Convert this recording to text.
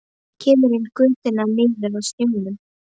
Kemur inn í götuna niður að sjónum.